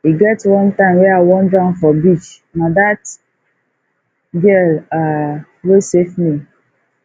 e get one time wey i wan drown for beach na dat girl um wey safe me